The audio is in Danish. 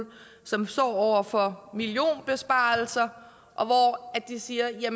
som står over for millionbesparelser og de siger at